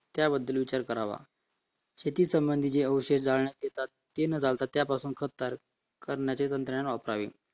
त्याचा विचार करावा शेती संबंधित जे औषध जाळण्यात येतात ते न जाता त्यापासून खत तयार करण्यात यावी